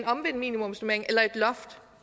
omvendt minimumsnormering eller et loft